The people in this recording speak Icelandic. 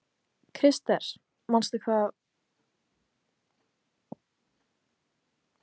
Krister, manstu hvað verslunin hét sem við fórum í á mánudaginn?